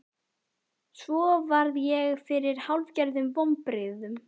Svo varð ég fyrir hálfgerðum vonbrigðum.